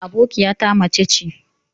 Abokiyata mace ce.